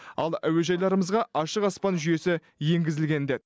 ал әуежайларымызға ашық аспан жүйесі енгізілген деді